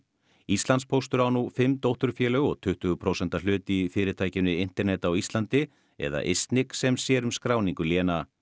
Íslandspóstur á nú fimm dótturfélög og tuttugu prósenta hlut í fyrirtækinu internet á Íslandi eða ISNIC sem sér um skráningu léna